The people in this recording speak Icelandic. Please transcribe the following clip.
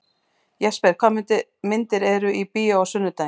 Jesper, hvaða myndir eru í bíó á sunnudaginn?